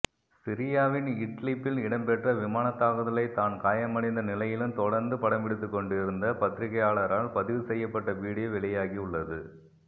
சிரியாவின் இட்லிப்பில் இடம்பெற்ற விமானதாக்குதலை தான் காயமடைந்த நிலையிலும் தொடர்ந்து படம்பிடித்துக்கொண்டிருந்த பத்திரிகையாளரால் பதிவு செய்யப்பட்ட வீடியோ வெளியாகியுள்ளது